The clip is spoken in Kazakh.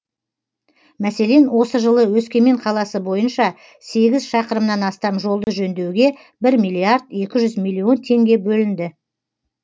мәселен осы жылы өскемен қаласы бойынша сегіз шақырымнан астам жолды жөндеуге бір миллиард екі жүз миллион теңге бөлінді